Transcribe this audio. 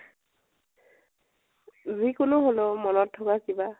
যি কোনো হলেও । মনত থকা কিবা ।